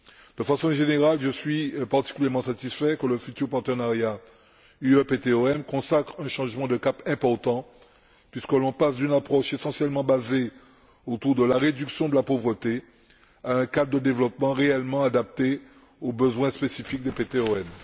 D'une façon générale, je suis particulièrement satisfait que le futur partenariat UE PTOM consacre un changement de cap important, puisque l'on passe d'une approche essentiellement basée sur la réduction de la pauvreté à un cadre de développement réellement adapté aux besoins spécifiques des PTOM.